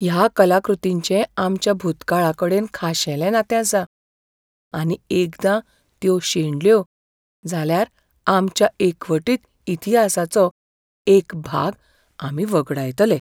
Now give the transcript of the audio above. ह्या कलाकृतींचें आमच्या भुतकाळाकडेन खाशेलें नातें आसा, आनी एकदां त्यो शेणल्यो जाल्यार आमच्या एकवटीत इतिहासाचो एक भाग आमी वगडायतले.